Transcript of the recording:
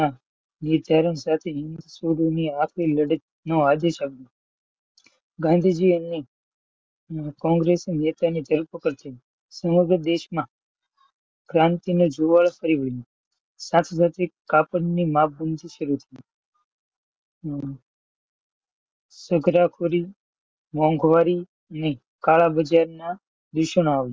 ક્રાંતિની શરૂઆત કરી દીધી. કરી દીધી. હમ ગુનાખોરી મોંઘવારી કાળા બજાર દુષણ આવ્યું.